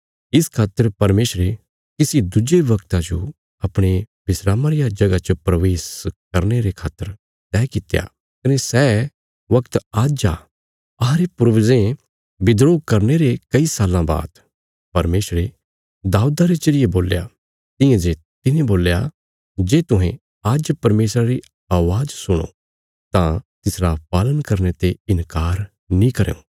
इस खातर परमेशरे किसी दुज्जे वगता जो अपणे विस्रामा रिया जगह च प्रवेश करने खातर तैह कित्या कने सै वगत आज्ज आ अहांरे पूर्वजें विद्रोह करने रे कई साल्लां बाद परमेशरे दाऊदा रे जरिये बोल्या तियां जे तिने बोल्या जे तुहें आज्ज परमेशरा री अवाज़ सुणो तां तिसरा पालन करने ते इन्कार नीं करयां